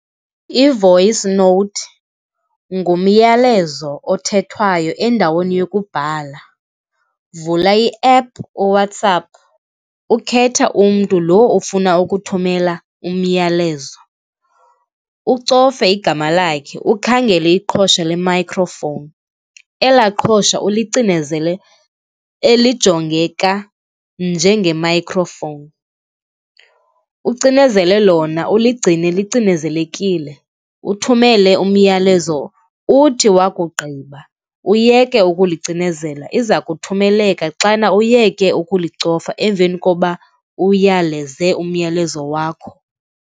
I-voice note ngumyalezo othethwayo endaweni yokubhala. Vula iephu, uWhatsApp ukhethe umntu lo ofuna ukuthumela umyalezo, ucofe igama, lakhe ukhangele iqhosha le-microphone. Elaa iqhosha ulicinezele, elijongeka njenge-microphone. Ucinezele lona, uliigcine licinezelekile, uthumele umyalezo, uthi wakugqiba uyeke ukulicinezela. Iza kuthumeleka xana uyeke ukulicofa emveni koba uyaleze umyalezo wakho.